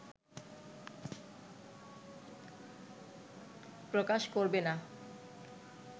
প্রকাশ করবে না